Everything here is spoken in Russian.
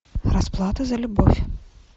расплата за любовь